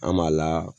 An b'a la